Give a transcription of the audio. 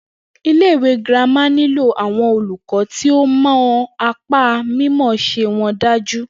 Ilé ìwé girama nílò awon olùkó̩ tí ó mo̩ apá mímò̩ó̩s̩e won dájú